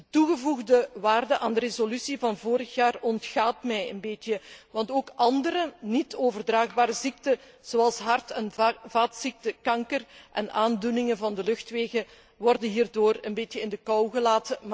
De toegevoegde waarde van de resolutie van vorig jaar ontgaat mij een beetje, want ook andere, niet overdraagbare ziekten, zoals hart en vaatziekten, kanker en aandoeningen van de luchtwegen worden hierdoor een beetje genegeerd.